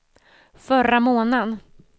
förra månaden